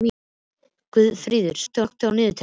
Guðfríður, slökktu á niðurteljaranum.